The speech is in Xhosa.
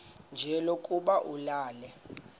nje lokuba ulale